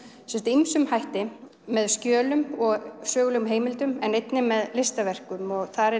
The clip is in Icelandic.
ýmsum hætti með skjölum og sögulegum heimildum en einnig með listaverkum og þar